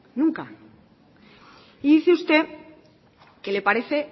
nunca y dice usted que le parece